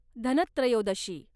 Dhantrayodashi